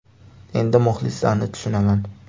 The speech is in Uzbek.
Endi muxlislarni tushunaman.